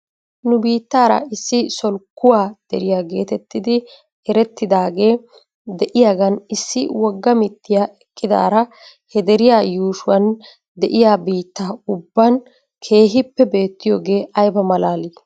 Nu biittaara issi solkkuwaa deriyaa geetettidi erettidaagee de'iyaagan issi wogga mittiyaa eqqidaara he deriyaa yuushuwan de'iyaa biittaa ubban keehippe beettiyoogee ayba malaalii?